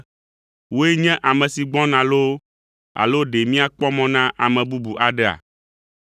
“Wòe nye ame si gbɔna loo, alo ɖe míakpɔ mɔ na ame bubu aɖea?”